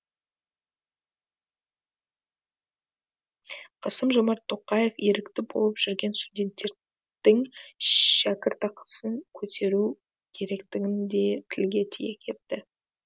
қасым жомарт тоқаев ерікті болып жүрген студенттердің шәкіртақысын көтеру керектігін де тілге тиек етті